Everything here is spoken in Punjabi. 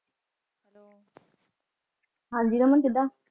ਹਾਂਜੀ ਰਮਨ ਕਿੱਦਾਂ